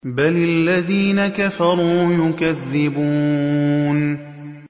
بَلِ الَّذِينَ كَفَرُوا يُكَذِّبُونَ